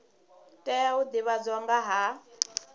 tea u divhadzwa nga ha